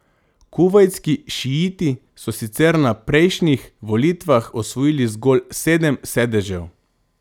Kuvajtski šiiti so sicer na prejšnjih volitvah osvojili zgolj sedem sedežev.